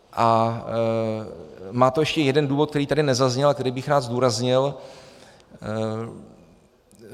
A má to ještě jeden důvod, který tady nezazněl a který bych rád zdůraznil.